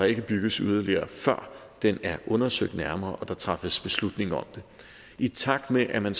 ikke bygges yderligere før den er undersøgt nærmere og der træffes beslutning om det i takt med at man